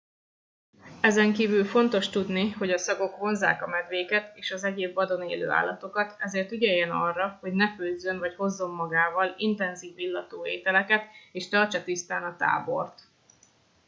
ezenkívül fontos tudni hogy a szagok vonzzák a medvéket és az egyéb vadon élő állatokat ezért ügyeljen arra hogy ne főzzön vagy hozzon magával intenzív illatú ételeket és tartsa tisztán a tábort